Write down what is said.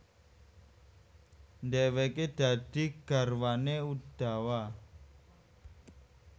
Dhèwèké dadi garwané Udawa